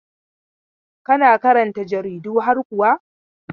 Kana karanta jaridu har kuwa?